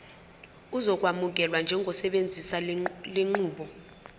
uzokwamukelwa njengosebenzisa lenqubo